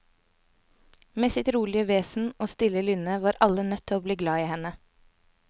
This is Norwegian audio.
Med sitt rolige vesen og stille lynne var alle nødt til å bli glad i henne.